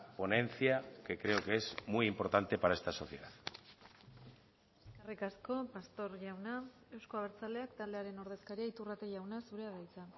ponencia que creo que es muy importante para esta sociedad eskerrik asko pastor jauna euzko abertzaleak taldearen ordezkaria iturrate jauna zurea da hitza